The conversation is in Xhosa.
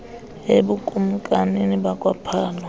ebukl lmkanini bakwaphalo